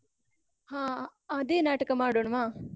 ಹಾ! ಅದೇ ನಾಟಕ ಮಾಡೋಣ್ವಾ?